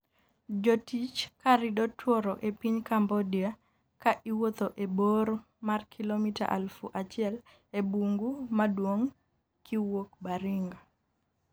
jotich ka rido tworo e piny Cambodia. ka iwuotho e bor mar kilomita aluf achiel e bungu maduong' kiwuok Baringa